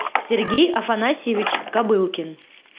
сергей афанасьевич кобылкин